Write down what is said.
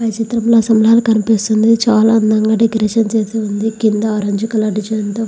ఈ చిత్రంలో సుమారు కనిపిస్తుంది చాలా అందంగా డెకోరేషన్ చేసి ఉంది కింద ఆరెంజ్ కలర్ డిజైన్ తో --